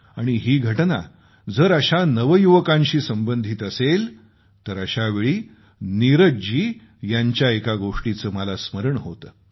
आणि ही घटना जर अशा नवयुवकांशी संबंधित असेल तर अशावेळी नीरज जी यांच्या एका गोष्टीचं मला स्मरण होतं